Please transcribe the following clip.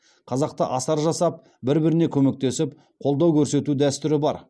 қазақта асар жасап бір біріне көмектесіп қолдау көрсету дәстүрі бар